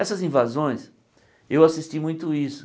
Essas invasões, eu assisti muito isso.